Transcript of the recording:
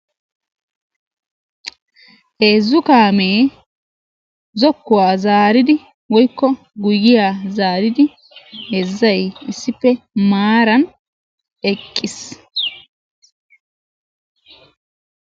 Heezzu kaamee zokkuwa zaaridi woyikko guyyiya zaaridi heezzayi issippe maaran eqqis.